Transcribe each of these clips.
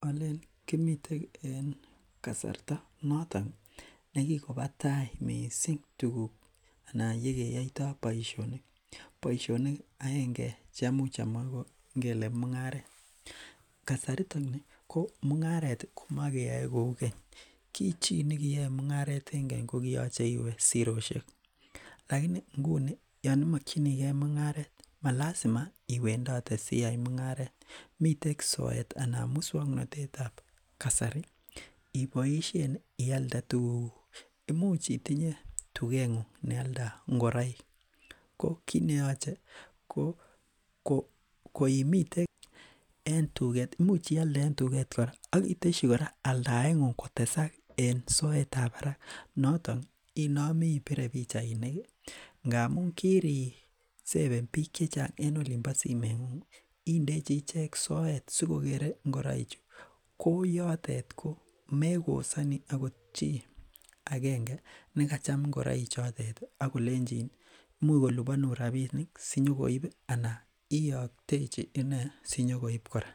Alen kimiten en kasarta noton nekikona tai missing tuguk anan yekeyaita baisionik. Boisionik aenge cheamuch amwa ingele ingele mung'aret, kasari ko mung'aret ko makeyae kou keny ki chi nekiyae mung'aret en keny koliyache iwe sirosiek laini inguni Yoon imakyinige munga9 malasima iwendote asiyai mung'aret, miten soet anan musuaknotetab kasari ibaishen ialde tuguk kuk imuch itinye tuget ng'ung nealdo ingoraik ko kokimiten, imuch ialde en tuget kora akiteyi aldaet ng'ung kotesak ensoetab barak noton I Mami ibore bichainik ih , ingamuun kiriseven bik chechang en olimbo simet ng'ung ih, inami indechi ichek soet sikokere ingoraik chu koyatet megosani agot chi agenge negachem ingoraik chotet ih akolechin imuch kolubanun rabisiek sinyokoib anan iaktechi ine sinyokoib kora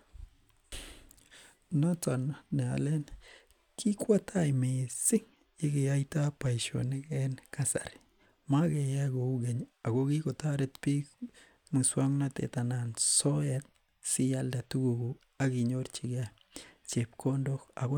noton nealen kikwatai missing yekeyaita boisionik en kasari makeyae kou keny ih ak kikotoret bik musuaknotetab anan soet sialde tuguk kuk asinyorchike chebkondok